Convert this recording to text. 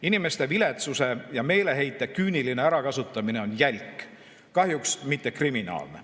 Inimeste viletsuse ja meeleheite küüniline ärakasutamine on jälk, kahjuks mitte kriminaalne.